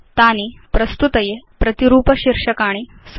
तानि प्रस्तुत्यर्थं प्रतिरूप शीर्षकाणि सन्ति